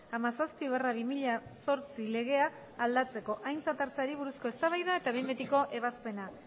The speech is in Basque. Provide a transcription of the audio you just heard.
hamazazpi barra bi mila zortzi legea aldatzekoa aintzat hartzeari buruzko eztabaida eta behin betiko ebazpena